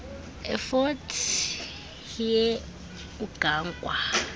efort hare ugangwa